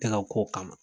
Tɛ ka kow kama